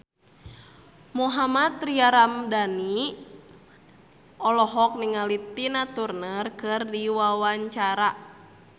Mohammad Tria Ramadhani olohok ningali Tina Turner keur diwawancara